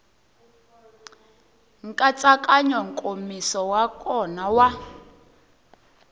nkatsakanyo nkomiso wa kona wa